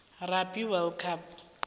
rugby world cup